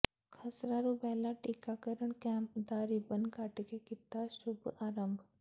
ਖਸਰਾ rubella ਟੀਕਾਕਰਣ camp ਦਾ ribbon cut ਕੇ ਕੀਤਾ ਸ਼ੁੱਭ ਆਰੰਭ